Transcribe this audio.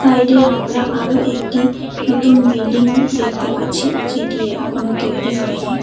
সাইডে আমরা আরও একটি নতুন বিল্ডিং দেখতে পাচ্ছি যেটি এখনও তৈরি হয়নি।